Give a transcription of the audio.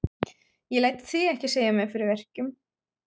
Ég læt þig ekki segja mér fyrir verkum.